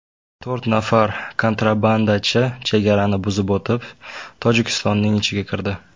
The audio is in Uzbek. To‘rt nafar kontrabandachi chegarani buzib o‘tib, Tojikistonning ichiga kirdi.